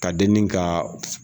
Ka denni ka